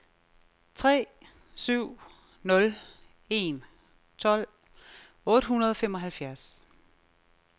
tre syv nul en tolv otte hundrede og femoghalvfjerds